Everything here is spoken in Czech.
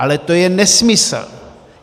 Ale to je nesmysl!